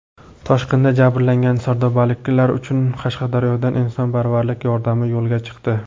Toshqindan jabrlangan sardobaliklar uchun Qashqadaryodan insonparvarlik yordami yo‘lga chiqdi.